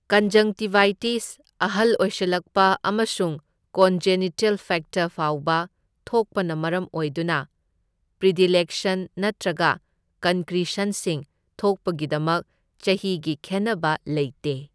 Conjunctivitis, ꯑꯍꯜ ꯑꯣꯏꯁꯜꯂꯛꯄ ꯑꯃꯁꯨꯡ ꯀꯣꯟꯖꯦꯅꯤꯇꯦꯜ ꯐꯦꯛꯇꯔ ꯐꯥꯎꯕ ꯊꯣꯛꯄꯅ ꯃꯔꯝ ꯑꯣꯏꯗꯨꯅ, ꯄ꯭ꯔꯤꯗꯤꯂꯦꯛꯁꯟ ꯅꯠꯇ꯭ꯔꯒ ꯀꯟꯀ꯭ꯔꯤꯁꯟꯁꯤꯡ ꯊꯣꯛꯄꯒꯤꯗꯃꯛ ꯆꯍꯤꯒꯤ ꯈꯦꯟꯅꯕ ꯂꯩꯇꯦ꯫